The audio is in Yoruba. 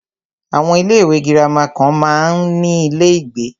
Àwọn ilé ìwé gírámà kan máa ń ní ilé ìgbé.